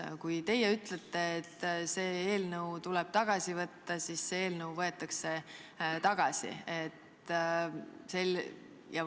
Kui teie ütlete, et see eelnõu tuleb tagasi võtta, siis see eelnõu võetakse tagasi.